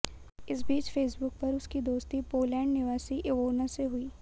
इस बीच फेसबुक पर उसकी दोस्ती पोलैंड निवासी इवोना से हुई